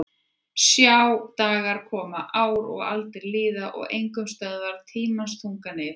Sjá dagar koma ár og aldir líða og enginn stöðvar tímans þunga nið